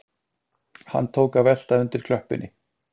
Hann tók að velta undir klöppinni